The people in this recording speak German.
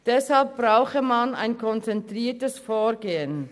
Deshalb brauche man ein konzentriertes Vorgehen.